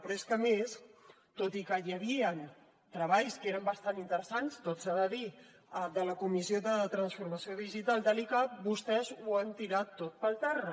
però és que a més tot i que hi havien treballs que eren bastant interessants tot s’ha de dir de la comissió de transformació digital de l’icab vostès ho han tirat tot per terra